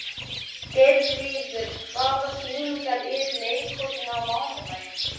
Geirríður, hvaða sýningar eru í leikhúsinu á mánudaginn?